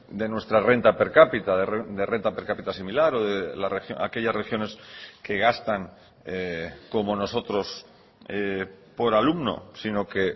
de nuestra renta per capita de renta per capita similar o de aquellas regiones que gastan como nosotros por alumno sino que